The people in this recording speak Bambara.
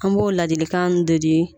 An b'o ladilikanw de di